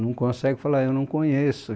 Não conseguem e fala ah eu não conheço.